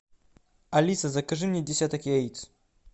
алиса закажи мне десяток яиц